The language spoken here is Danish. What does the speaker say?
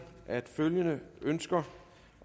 at følgende ønsker